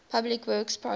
public works projects